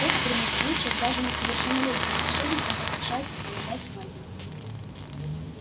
в экстренных случаях даже несовершеннолетним волшебникам разрешается применять магию